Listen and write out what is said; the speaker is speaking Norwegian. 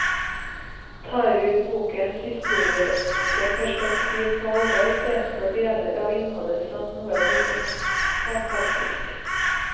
Tar vi bokens historiske perspektiv på alvor, fremstår deler av innholdet som noe bortimot fantastisk.